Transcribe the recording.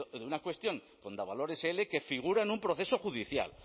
de una cuestión con davalor sl que figura en un proceso judicial